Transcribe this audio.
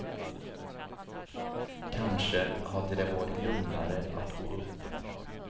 Kanske hade det varit lugnare att gå upp.